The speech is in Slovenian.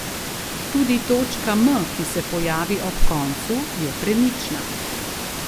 Tudi točka M, ki se pojavi ob koncu, je premična.